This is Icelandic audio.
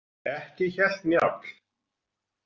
Ekki hélt Njáll.